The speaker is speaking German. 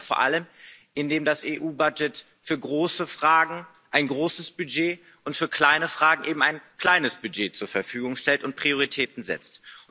Das schaffen wir vor allem, indem die EU für große Fragen ein großes Budget und für kleine Fragen eben ein kleines Budget zur Verfügung stellt und Prioritäten setzt.